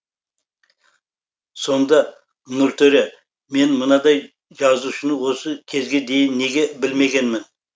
сонда нұртөре мен мынадай жазушыны осы кезге дейін неге білмегенмін